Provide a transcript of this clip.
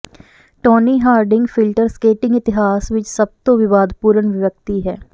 ਟੌਨੀ Harding filter skating ਇਤਿਹਾਸ ਵਿੱਚ ਸਭ ਤੋਂ ਵਿਵਾਦਪੂਰਨ ਵਿਅਕਤੀ ਹੈ